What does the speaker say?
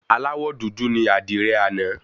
Aláwọ dúdú ní àdìrẹ àná.